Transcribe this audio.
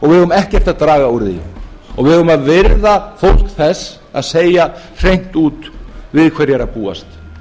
ekkert að draga úr því og við eigum að virða fólk þess að segja hreint út við hverju er að búast